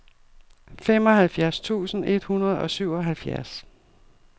femoghalvfjerds tusind et hundrede og syvoghalvfjerds